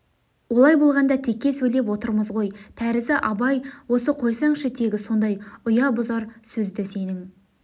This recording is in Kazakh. олай болғанда текке сөйлеп отырмыз ғой тәрізі абай осы қойсаңшы тегі сондай ұя бұзар сөзді сенің